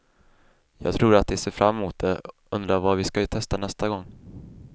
Jag tror att de ser fram emot det, undrar vad vi ska testa nästa gång.